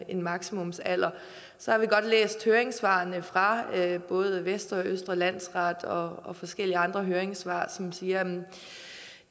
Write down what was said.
en maksimumsalder så har vi godt læst høringssvarene fra både vestre og østre landsret og og forskellige andre høringssvar som siger at